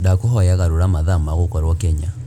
ndakūhoya garūra mathaa maa gūkorwo Kenya